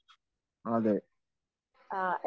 അതെ